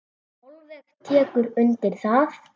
Sólveig tekur undir það.